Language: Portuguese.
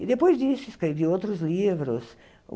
E depois disso, escrevi outros livros.